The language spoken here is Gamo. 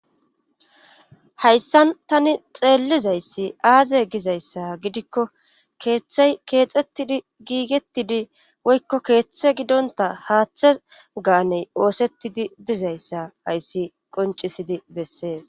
hayssan tani xeellizayssi aaze gizayssa gidikko keeththe keexettidi giigetidi woykko keeththe gidonta haaththe gaaney oosettidi dizayssa ayssi qoncisidi bessees